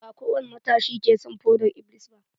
Ba kowani matashi ke shan fodar-iblis ba.